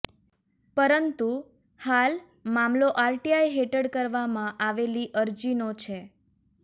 પરંતુ હાલ મામલો આરટીઆઈ હેઠળ કરવામાં આવેલી અરજીનો છે